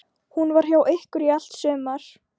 Hún var hjá ykkur í allt sumar.